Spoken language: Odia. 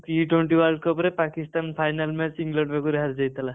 T Twenty World Cup ରେ ପାକିସ୍ତାନ final match ଇଂଲଣ୍ଡ ପାଖରୁ ହାରି ଯାଇଥିଲା।